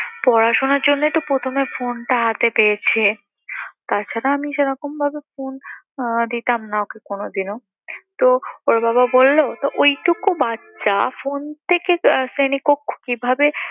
পড়াশোনার জন্যই তো প্রথমে phone টা হাতে পেয়েছে। তাছাড়া আমি সেরকমভাবে phone আহ দিতাম না ওকে কোনোদিনও। তো, ওর বাবা বলল তো ওইটুকু বাচ্চা phone আহ থেকে শ্রেণীকক্ষ কিভাবে